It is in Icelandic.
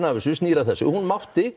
af þessu snýr að þessu hún mátti